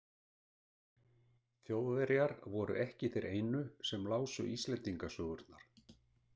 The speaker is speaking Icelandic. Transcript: Þjóðverjar voru ekki þeir einu sem lásu Íslendingasögurnar.